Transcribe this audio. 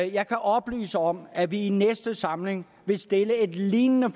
jeg kan oplyse om at vi i næste samling vil stille et lignende